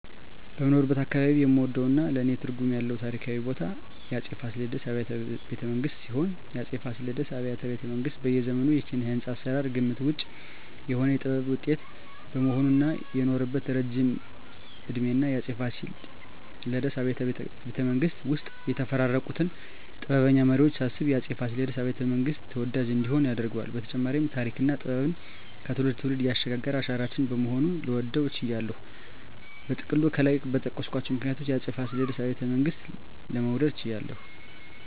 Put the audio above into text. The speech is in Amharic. በምኖርበት አካባባቢ የምወደውና ለኔ ትርጉም ያለው ታሪካዊ ቦታ የአፄ ፋሲለደስ አብያተ ቤተመንግስት ሲሆን፣ የአፄ ፋሲለደስ አብያተ ቤተመንግስት በዘመኑ የኪነ-ህንጻ አሰራር ግምት ውጭ የሆነ የጥበብ ውጤት በመሆኑ እና የኖረበት እረጅም እድሜና የአፄ ፋሲለደስ አብያተ ቤተመንግስት ውስጥ የተፈራረቁትን ጥበበኛ መሪወች ሳስብ የአፄ ፋሲለደስ አብያተ- መንግስት ተወዳጅ እንዲሆን ያደርገዋል በተጨማሪም ተሪክና ጥበብን ከትውልድ ትውልድ ያሸጋገረ አሻራችን በመሆኑ ልወደው ችያለሁ። በጥቅሉ ከላይ በጠቀስኳቸው ምክንያቶች የአፄ ፋሲለደስ አብያተ ቤተመንግስትን ለመውደድ ችያለሁ